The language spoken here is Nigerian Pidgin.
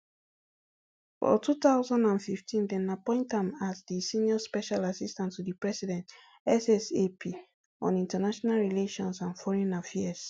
for two thousand and fifteen dem appoint am as di senior special assistant to di president ssap on international relations and foreign affairs